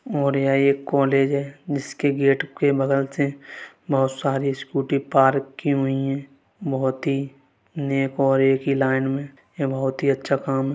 और यहाँ एक कोलेज है जिसके गेट के बगल से बहुत सारी स्कूटी पार्क की हुई हैं बहुत ही नेक और एक ही लाइन में ये बहुत ही अच्छा काम है।